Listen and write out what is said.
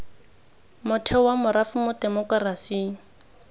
motheo wa morafe mo temokerasing